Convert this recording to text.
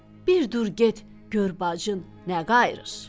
Bir dur get gör bacın nə qayırır?